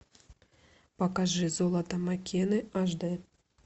покажи золото маккены аш д